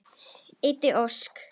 Eydís Ósk.